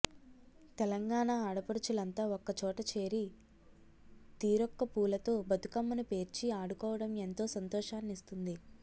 తెలంగాణ ఆడపడుచులంతా ఒక్క చోట చేరి తీరొక్క పూలతో బతుకమ్మను పేర్చి ఆడుకోవడం ఎంతో సంతోషాన్నిస్తుంది